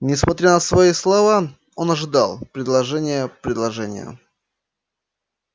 несмотря на свои слова он ожидал предложения предложения